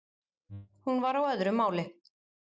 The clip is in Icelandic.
Hún var á öðru máli.